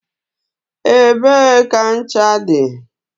Ebee ka ncha dị?